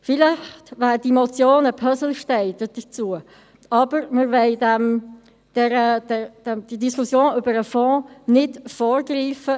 Vielleicht wäre die Motion ein Puzzlestein dazu, aber wir wollen der Diskussion über den Fonds nicht vorgreifen.